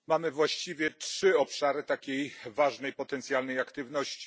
Mamy właściwie trzy obszary takiej ważnej potencjalnej aktywności.